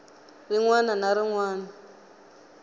rin wana na rin wana